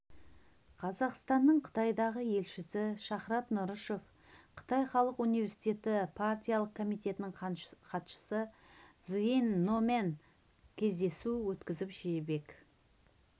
казақстанның қытайдағы елшісі шахрат нұрышев қытай халық университеті партиялық комитетінің хатшысы цзинь номен кездесу өткізіп жібек